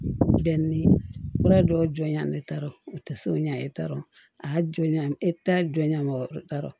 Bɛn ni fura dɔw jɔnjan ne t'a dɔn u tɛ so ɲɛ ne t'a dɔn a y'a jɔn ɲɛ e ta jɔnya mɔgɔ t'a rɔ